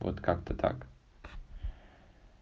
вот как-то так